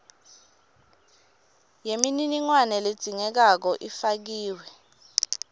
yemininingwane ledzingekako ifakiwe